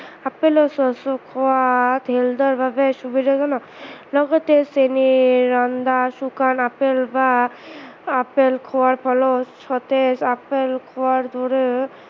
আপেলৰ খোৱা health ৰ বাবে সুবিধাজনক লগতে চেনিৰ ৰন্ধা, শুকান আপেল বা আপেল খোৱাৰ ফলত সতেজ আপেল খোৱাৰ দৰে